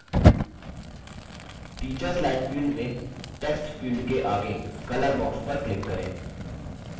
teachers line field में text field के आगे color box पर click करें